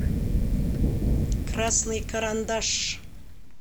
красный карандаш